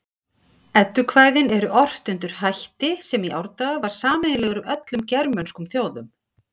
Eddukvæðin eru ort undir hætti sem í árdaga var sameiginlegur öllum germönskum þjóðum.